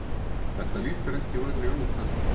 Þetta lítur ekki vænlega út þannig